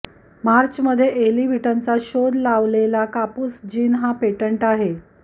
मार्चमध्ये एली व्हिटनीचा शोध लावलेला कापूस जिन हा पेटंट आहे